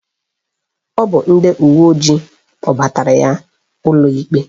Ọ bụ ndị uwe ojii kpụbatara ya ụlọikpe